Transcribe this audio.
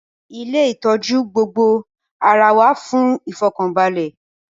Ilé ìtọ́jú gbogbo ara wà fún ìfọ̀kànbalẹ̀